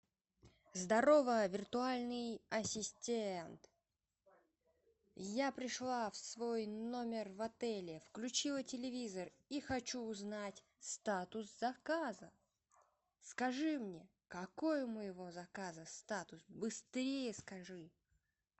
здорово виртуальный ассистент я пришла в свой номер в отеле включила телевизор и хочу узнать статус заказа скажи мне какой у моего заказа статус быстрее скажи